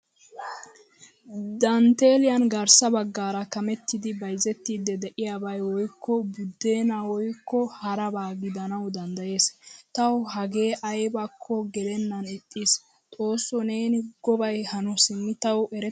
Danttelliyan garssa baggaara kametidi bayzzettidi de'iyabay woykko budeenaa woykko haraba gidanawu danddayees. Tawu hage aybako gelenan ixiis. Xoossoo neeni gobay hano simi tawu erettena.